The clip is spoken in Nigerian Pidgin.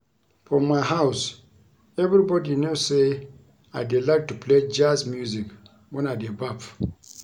For my house everybody know say I dey like to play Jazz music wen I dey baff